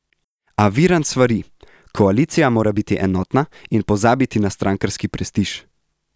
A Virant svari: 'Koalicija mora biti enotna in pozabiti na strankarski prestiž'.